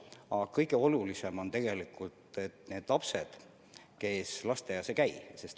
Aga kõige olulisem on tegelikult teada, kuidas arenevad need lapsed, kes lasteaias ei käi.